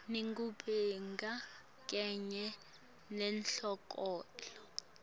nebugebengu kanye nenkhohlakalo